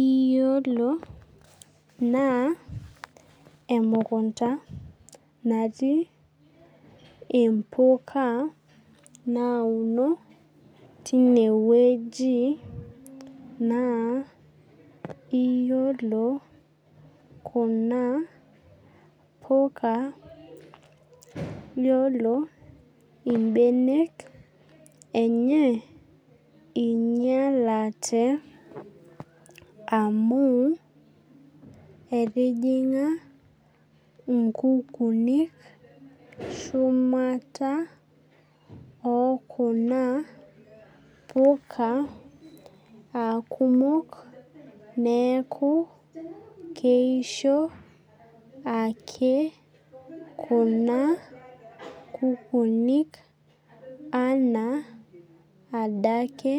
Iyiolo naa emukunta natik impuka nauno tineweji naa iyiolo kuna puka iyiolo ibenek enye inyalate amu etijing'a inkukunik shumata oo kuna puka aa kumok neeku keisho ake kuna kukunik anaa adake